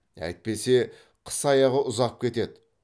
әйтпесе қыс аяғы ұзап кетеді